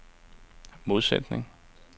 modsætning